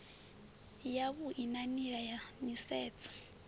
yavhui na nila ya nisedzo